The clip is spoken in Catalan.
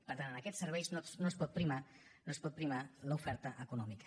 per tant en aquests serveis no es pot primar no es pot primar l’oferta econòmica